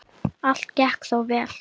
Allt gekk þó vel.